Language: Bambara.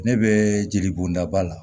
Ne bɛ jelibondaba la